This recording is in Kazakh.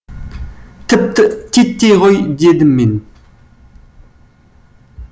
тіпті титтей ғой дедім мен